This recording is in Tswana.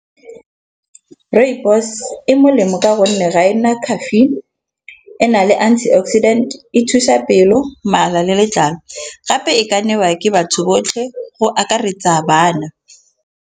Rooibos e molemo ka gonne ga ena caffeine ena le antioxidant. E thusa pelo mala le letlalo, gape e ka newa ke batho botlhe go akaretsa bana.